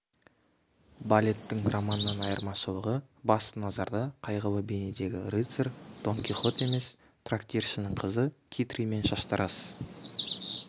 балеттің романнан айырмашылығы басты назарда қайғылы бейнедегі рыцарь дон кихот емес трактиршінің қызы китри мен шаштараз